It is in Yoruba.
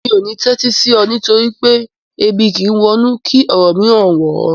Mi ò ní tẹ́tí sí ọ nítorí pé "Ebi kìí wọ inú kí ọ̀rọ̀ mìíràn wọ̀ ọ́"